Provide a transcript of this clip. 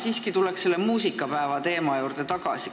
Mina tuleks siiski muusikapäeva teema juurde tagasi.